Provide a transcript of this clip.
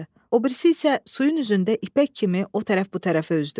O birisi isə suyun üzündə ipək kimi o tərəf bu tərəfə üzdü.